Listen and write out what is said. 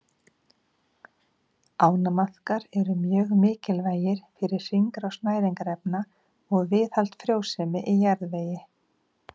Ánamaðkar eru mjög mikilvægir fyrir hringrás næringarefna og viðhald frjósemi í jarðvegi.